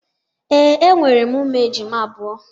Ee, enwere m ụmụ ejima abụọ.